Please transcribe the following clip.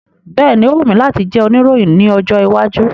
Bẹ́ẹ̀ni, o wù mí láti jẹ́ òníròyìn ní ọjọ́ iwájú.